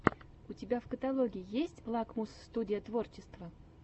у тебя в каталоге есть лакмус студия творчества